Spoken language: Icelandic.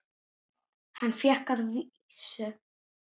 Hann fékk að vísu